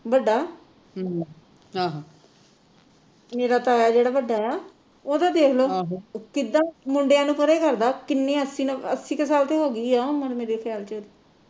ਵੱਡਾ ਮੇਰਾ ਤਾਇਆ ਜਿਹੜਾ ਵੱਡਾ ਆ ਓਹਦਾ ਦੇਖ ਲੋ ਕਿੱਦਾਂ ਮੁੰਡਿਆਂ ਨੂੰ ਪਰੇ ਕਰਦਾ ਕਿੰਨੇ ਅੱਸੀ ਅੱਸੀ ਕੁ ਸਾਲ ਤੇ ਹੋ ਗਈ ਆ ਉਮਰ ਮੇਰੇ ਖਿਆਲ ਚ